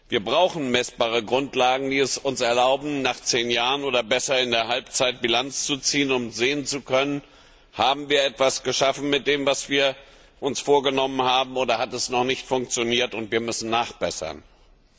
Wir brauchen messbare Grundlagen, die es uns erlauben, nach zehn Jahren oder besser in der Halbzeit Bilanz zu ziehen, um sehen zu können, ob wir etwas erreicht haben von dem, was wir uns vorgenommen haben, oder ob es noch nicht funktioniert hat und wir nachbessern müssen.